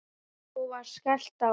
Svo var skellt á.